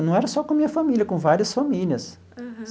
Não era só com a minha família, com várias famílias. Uhum.